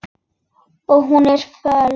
Og hún er föl.